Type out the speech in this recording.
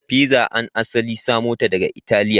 Pizza an asalin samo ta daga Italiya.